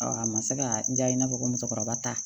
a ma se ka n diya i n'a fɔ ko musokɔrɔba ta